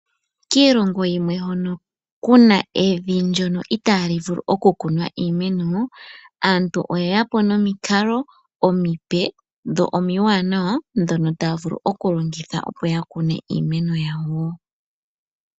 Kiilongo yimwe hono kuna evi ndjono itaali vulu okukunwa iimeno aantu oyeya po nomikalo omipe dho omiwanawa ndhono taya vulu okulongitha opo ya kune iimeno yawo.